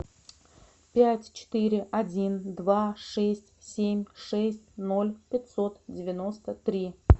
пять четыре один два шесть семь шесть ноль пятьсот девяносто три